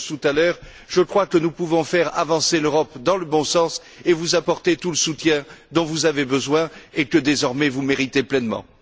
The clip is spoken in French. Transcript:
Schulz tout à l'heure je crois que nous pouvons faire avancer l'Europe dans le bon sens et vous apporter tout le soutien dont vous avez besoin, et que, désormais, vous méritez pleinement.